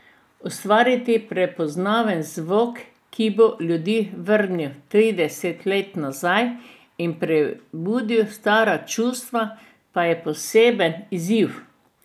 Ustvariti prepoznaven zvok, ki bo ljudi vrnil trideset let nazaj in prebudil stara čustva, pa je poseben izziv.